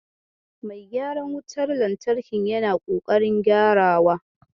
Mai gyaran wutar lantarkin yana ƙoƙarin gyarawa.